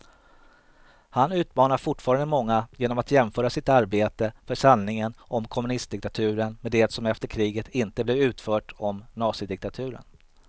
Han utmanar fortfarande många genom att jämföra sitt arbete för sanningen om kommunistdiktaturen med det som efter kriget inte blev utfört om nazidiktaturen.